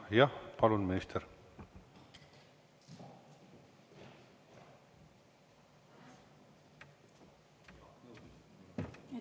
Jah, palun, minister!